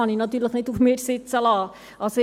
Ja, dies kann ich nicht auf mir sitzen lassen.